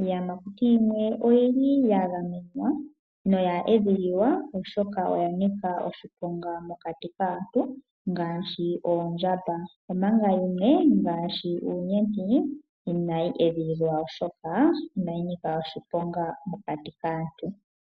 Iiyamakuti yimwe oyili ya gamenwa noya edhililwa oshoka oya nika oshiponga mokati kaantu ngaashi oondjamba, omanga yimwe ngaashi uunyenti inayi edhililwa oshoka inayi nika oshiponga mokati kaantu.